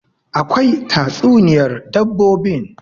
akwai tatsuniyar dabbobin